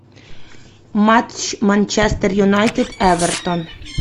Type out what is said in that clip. матч манчестер юнайтед эвертон